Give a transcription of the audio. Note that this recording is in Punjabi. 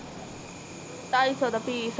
ਟਾਈ ਸੋ ਦਾ ਪੀਸ